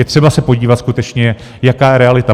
Je třeba se podívat skutečně, jaká je realita.